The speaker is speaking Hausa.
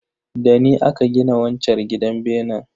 Dani aka gina wanchar gidan benen.